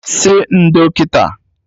Sị ndo kịta!